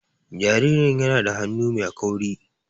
Jaririn yana da hannu mai kauri.